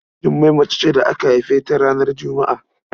Jummai mace ce da aka haife ta ranar Juma'a.